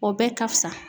O bɛɛ ka fisa